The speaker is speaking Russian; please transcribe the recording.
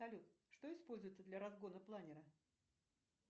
салют что используется для разгона планера